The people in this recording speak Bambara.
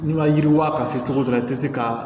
N'i ma yiriwa ka se cogo dɔ la i tɛ se ka